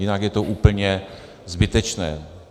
Jinak je to úplně zbytečné.